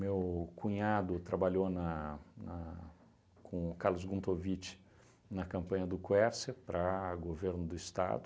cunhado trabalhou na na com o Carlos Guntovitch na campanha do Quércia para governo do Estado.